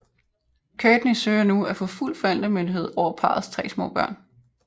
Kourtney søger nu at få fuld forældremyndighed over parrets tre små børn